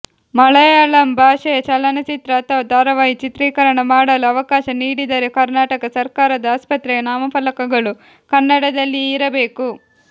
ಮಲಯಾಳಂ ಭಾಷೆಯ ಚಲನಚಿತ್ರ ಅಥವಾ ಧಾರಾವಾಹಿ ಚಿತ್ರೀಕರಣ ಮಾಡಲು ಅವಕಾಶ ನೀಡಿದರೆ ಕರ್ನಾಟಕ ಸರ್ಕಾರದ ಆಸ್ಪತ್ರೆಯ ನಾಮಫಲಕಗಳು ಕನ್ನಡದಲ್ಲಿಯೇ ಇರಬೇಕು